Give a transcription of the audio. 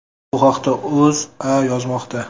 Bu haqda O‘zA yozmoqda .